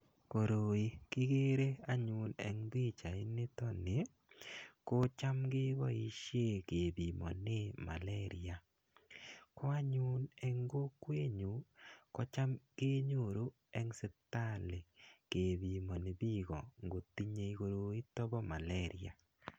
Koroi kikere anyun eng pichainitoni, kocham keboisie kepimonee Malaria, ko anyun eng kokwenyu kocham kenyoru eng sipitali kepimoni piiko ngotinye koroito bo Malaria.